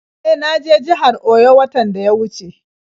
E, na je jihar Oyo watan da ya wuce.